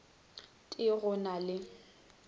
t e go na le